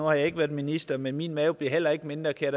har ikke været minister men min mave bliver heller ikke mindre kan